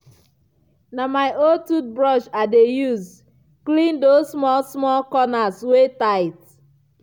na my old toothbrush i dey use clean those small small corners wey tight.